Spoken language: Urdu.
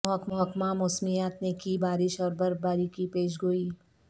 محکمہ موسمیات نے کی بارش اور برفباری کی پیش گوئی